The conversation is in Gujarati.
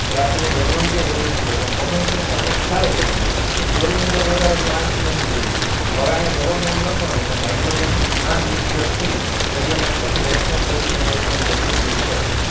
ડખાલો ગણવા માં ક્યાં ય જરૂર નહિ પડે પણ common sense આપણ ને ખ્યાલ જ હોવો જોઈ ક્લોરીનનું દળ વધારે હતું કે અયેથી નજીક હોવું જોઈ તો હવે અહીંયા જવાબ માં એમ લખવા નું કે હાઈડ્રોજન ના ન્યુક્લિયરથી દ્રવ્યમાન કેન્દ્ર એક point ચોવીસ m l angstrong જેટલું દૂર છે